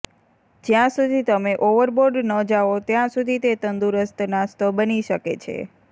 જ્યાં સુધી તમે ઓવરબોર્ડ ન જાઓ ત્યાં સુધી તે તંદુરસ્ત નાસ્તો બની શકે છે